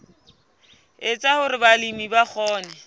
etsa hore balemi ba kgone